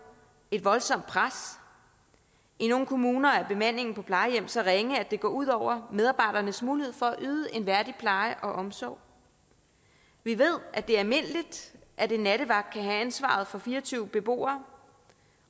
et voldsomt pres i nogle kommuner er bemandingen på plejehjem så ringe at det går ud over medarbejdernes mulighed for at yde en værdig pleje og omsorg vi ved at det er almindeligt at en nattevagt kan have ansvaret for fire og tyve beboere